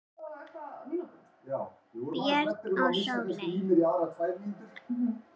Björn og Sóley.